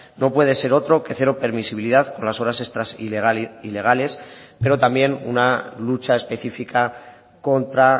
no puede ser otro que cero permisibilidad con las horas extras ilegales pero también una lucha específica contra